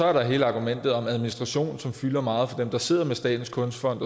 er der hele argumentet om administrationen som fylder meget for dem der sidder med statens kunstfond